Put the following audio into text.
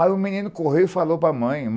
Aí o menino correu e falou para mãe.